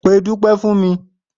Pe Dúpé̩ fún mi!